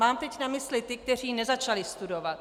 Mám teď na mysli ty, kteří nezačali studovat.